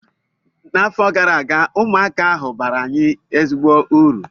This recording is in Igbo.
N’afọ gara aga, ụmụaka ahụ baara anyị ezigbo uru